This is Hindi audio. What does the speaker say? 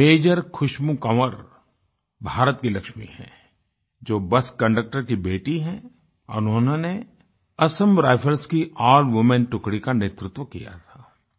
मेजर खुशबू कंवर भारत की लक्ष्मी है जो बस कंडक्टर की बेटी है और उन्होंने असम राइफल्स की अल्ल वूमेन टुकड़ी का नेतृत्व किया था